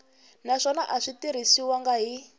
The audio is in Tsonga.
naswona a swi tirhisiwangi hi